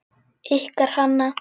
Ykkar Hanna.